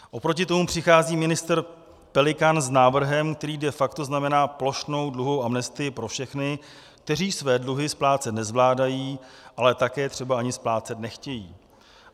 Oproti tomu přichází ministr Pelikán s návrhem, který de facto znamená plošnou dluhovou amnestii pro všechny, kteří své dluhy splácet nezvládají, ale také třeba ani splácet nechtějí.